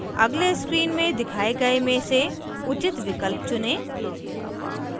अगले screen में दिखाए गए में से उचित विकल्प चुनें